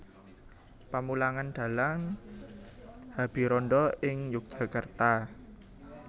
Pamulangan Dhalang Habirandha ing Yogyakarta